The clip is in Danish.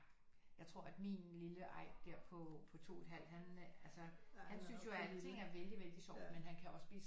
Jeg tror at min lille Eik der på på to et halvt han øh altså han synes jo alting er vældigt vældigt sjovt men han kan ogå blive